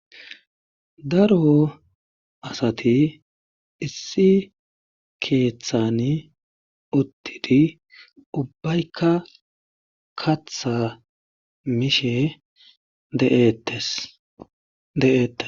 daro asati issi keeththani uttidi ubbaykka katha mishe de7ettes